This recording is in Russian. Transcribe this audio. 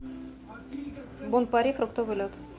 бон пари фруктовый лед